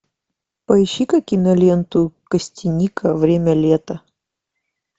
поищи ка киноленту костяника время лета